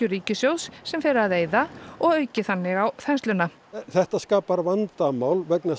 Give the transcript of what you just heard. ríkissjóðs sem fari að eyða og auki þannig á þensluna þetta skapar vandamál vegna þess